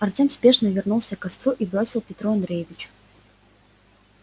артём спешно вернулся к костру и бросил петру андреевичу